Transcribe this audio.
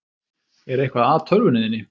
Er eitthvað að tölvunni þinni?